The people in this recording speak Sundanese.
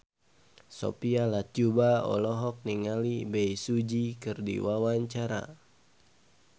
Sophia Latjuba olohok ningali Bae Su Ji keur diwawancara